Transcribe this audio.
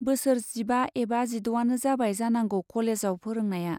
बोसोर जिबा एबा जिड'आनो जाबाय जानांगौ कलेजाव फोरोंनाया।